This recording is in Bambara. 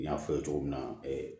N y'a fɔ ye cogo min na